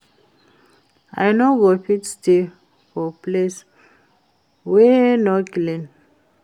I no go fit stay for place wey no clean